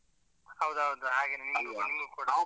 ಹೌದು ಹೌದು ಹಾಗೇನೆ ನಿಮ್ಗೂ ಕೂಡ